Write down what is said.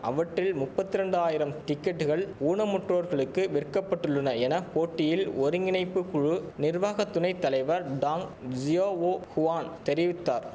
அவற்றில் முப்பத்திரெண்டாயிரம் டிக்கெட்டுகள் ஊனமுற்றோர்களுக்கு விற்க பட்டுள்ளன என போட்டியில் ஒருங்கிணைப்பு குழு நிர்வாக துணை தலைவர் டாங் ஜியாவோ குவான் தெரிவித்தார்